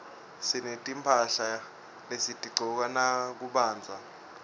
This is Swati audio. sinetimphahla lesitigcoka nakubandza